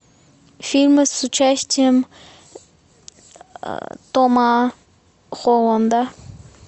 фильмы с участием тома холланда